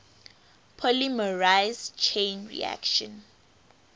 polymerase chain reaction